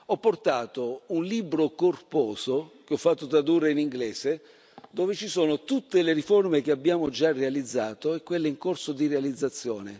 Ho portato un libro corposo, che ho fatto tradurre in inglese, dove ci sono tutte le riforme che abbiamo già realizzato e quelle in corso di realizzazione.